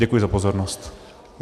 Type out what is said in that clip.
Děkuji za pozornost.